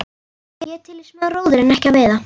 Ég er til í smá róður en ekki að veiða.